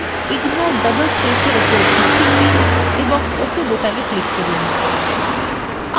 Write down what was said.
এখন ignore double spaces এর উপর একটি check দিন এবং ok button click করুন